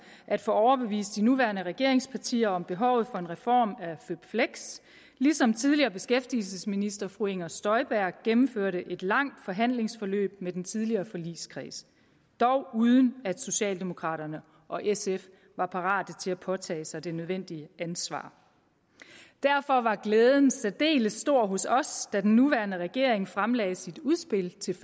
at få overbevist de nuværende regeringspartier om behovet for en reform af føpfleks ligesom tidligere beskæftigelsesminister fru inger støjberg gennemførte et langt forhandlingsforløb med den tidligere forligskreds dog uden at socialdemokraterne og sf var parate til at påtage sig det nødvendige ansvar derfor var glæden særdeles stor hos os da den nuværende regering fremlagde sit udspil til